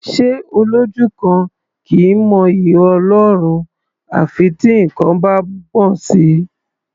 Ṣé Olójú kan kì í mọ'yì Ọlọ́run à fi tí nǹkan bá gbọ̀n sí i?